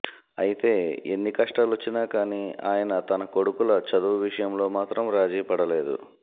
అయితే ఎన్ని కష్టాలొచ్చినా కాని ఆయన తన కొడుకల చదువు విషయంలో మాత్రం రాజీపడలేదు